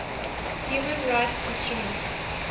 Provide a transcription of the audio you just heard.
human rights instruments